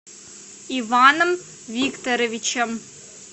иваном викторовичем